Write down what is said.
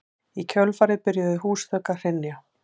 Í kjölfarið byrjuðu húsþök að hrynja